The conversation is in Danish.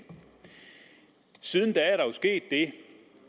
siden da